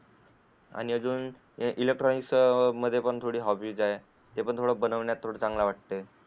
आणि अजून इलेक्ट्रॉनिक्स पण थोडी हॉबी आहे ते पण थोडं बनवण्यात थोडं चांगलं वाटतंय.